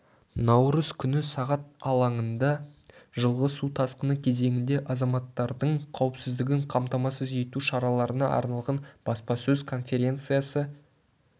наурыз күні сағат алаңында жылғы су тасқыны кезеңінде азаматтардың қауіпсіздігін қамтамасыз ету шараларына арналған баспасөз конференциясы